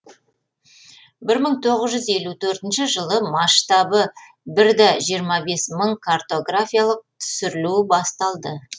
бір мың тоғыз жүз елу төртінші жылы масштабы бір де жиырма бес мың картографиялық түсірілу басталды